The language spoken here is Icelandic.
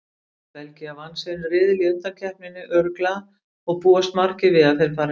Belgía vann sinn riðil í undankeppninni örugglega og búast margir við að þeir fari langt.